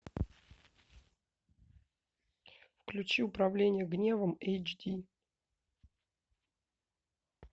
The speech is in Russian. включи управление гневом эйч ди